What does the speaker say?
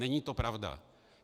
Není to pravda.